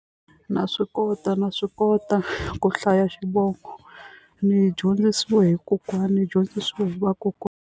Na swi kota na swi kota ku hlaya xivongo ni dyondzisiwe hi kokwana ni dyondzisiwe hi .